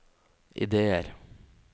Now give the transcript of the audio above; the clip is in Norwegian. ideer